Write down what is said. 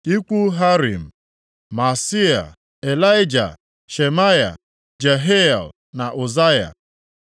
Ikwu Harim: Maaseia, Ịlaịja, Shemaya, Jehiel na Uzaya.